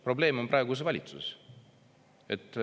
Probleem on praeguses valitsuses.